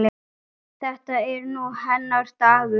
Þetta er nú hennar dagur.